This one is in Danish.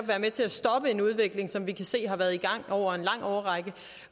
være med til at stoppe en udvikling som vi kan se har været i gang over en lang årrække